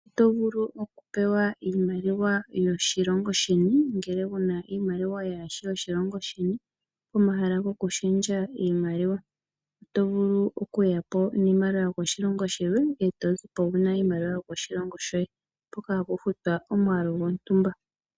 Oto vulu okupewa iimaliwa yoshilongo sheni ngele wuna iimaliwa yaa shi yoshilongo sheni pomahala gokushendja iimaliwa. Oto vulu okuya po niimaliwa yokoshilongo shilwe e to zi po wuna iimaliwa yokoshilongo shoye, mpoka hapu futwa omwaalu gwontumba.